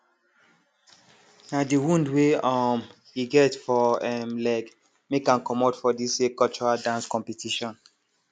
na de wound wey um e get for um leg make ahm commot for dis year cultural dance competition